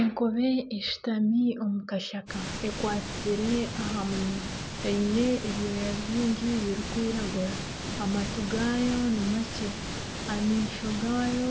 Enkobe eshutami omu kashaka eyekwatsire aha munwa eine ebyooya bingi birikwiragura amatu gaayo nimakye amaisho gaayo